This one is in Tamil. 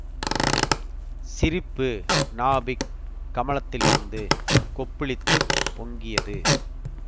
சிரிப்பு நாபிக் கமலத்திலிருந்து கொப்புளித்துப் பொங்கியது